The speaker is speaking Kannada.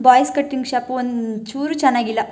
ಬಾಯ್ಸ್ ಕಟಿಂಗ್ ಶಾಪು ಒಂಚೂರು ಚೆನ್ನಾಗಿಲ್ಲ.